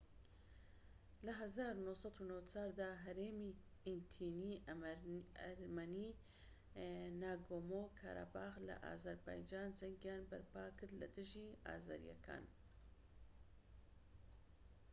لە ١٩٩٤ دا هەرێمی ئیتنیی ئەرمەنیی ناگۆمۆ-کاراباخ لە ئازەربایجان جەنگیان بەرپا کرد لە دژی ئازەریەکان